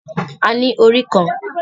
A ní orí kan